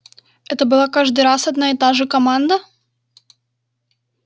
это была каждый раз одна и та же команда